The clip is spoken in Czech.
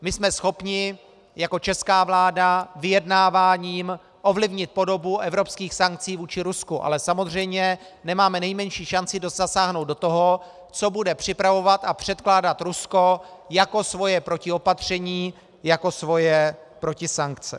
My jsme schopni jako česká vláda vyjednáváním ovlivnit podobu evropských sankcí vůči Rusku, ale samozřejmě nemáme nejmenší šanci zasáhnout do toho, co bude připravovat a předkládat Rusko jako svoje protiopatření, jako svoje protisankce.